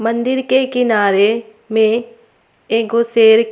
मंदिर के किनारे में एगो शेर--